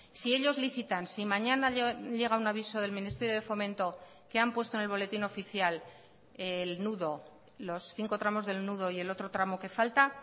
si ellos licitan si mañana llega un aviso del ministerio de fomento que han puesto en el boletín oficial el nudo los cinco tramos del nudo y el otro tramo que falta